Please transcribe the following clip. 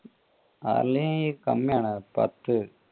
Harley കമ്മി ആണ് പത്ത്.